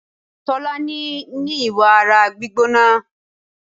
Tolani ní ìwà ara gbígbóná.